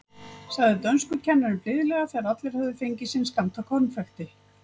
sagði dönskukennarinn blíðlega þegar allir höfðu fengið sinn skammt af konfekti.